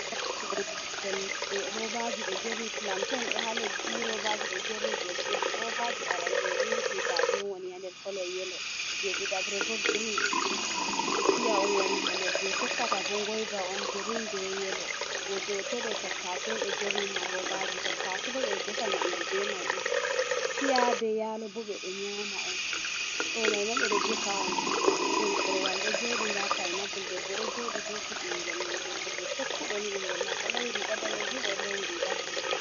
Sorugo ɓikkollede robaji do jerni plantein ɗo ha leddi, robaji ɗo jerni dow tebur, robaji arande ni kuitaji on woni ha nder kolo yelo, je ɗidabre bo grein piya on wani ha nder, je tokkata bo ngoyva on grein be yelo, je ɗotodo tattasi on ɗo jerni ha robaji tattasi bo ɓeɗo defa nyamdu be mai on, piya be yalo bo ɓe ɗo nyama on, ɗo mai ma ɓe ɗo defa on plantain, korwal ɗo joɗi nda painapul debbo ɗo joɗi hufi ɓingel mum, debbo mai tekkuɗo nii, ɓingel mako lowi riga danejum oɗo lowi riga bulu.